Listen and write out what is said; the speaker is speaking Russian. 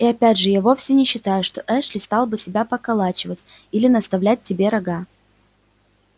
и опять же я вовсе не считаю что эшли стал бы тебя поколачивать или наставлять тебе рога